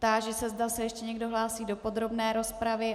Táži se, zda se ještě někdo hlásí do podrobné rozpravy.